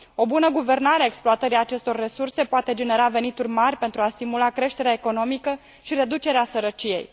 O bună guvernare a exploatării acestor resurse poate genera venituri mari pentru a stimula creșterea economică și reducerea sărăciei.